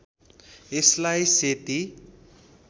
यसलाई सेती